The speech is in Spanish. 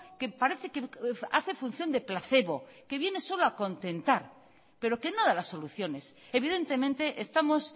que parece que hace función de placebo que viene solo a contentar pero que no da las soluciones evidentemente estamos